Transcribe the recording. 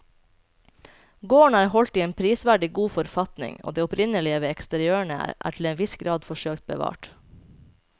Gården er holdt i en prisverdig god forfatning og det opprinnelige ved eksteriørene er til en viss grad forsøkt bevart.